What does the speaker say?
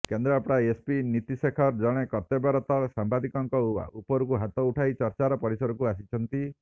Kendrapara SP Niti Shekhar ଜଣେ କର୍ତ୍ତବ୍ୟରତ ସାମ୍ବାଦିକଙ୍କ ଉପରକୁ ହାତ ଉଠାଇ ଚର୍ଚ୍ଚାର ପରିସରକୁ ଆସିଛନ୍ତି